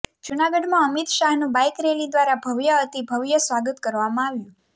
જૂનાગઢમાં અમિત શાહનું bike rally દ્વારા ભવ્યાતિભવ્ય સ્વાગત કરવામાં આવ્યું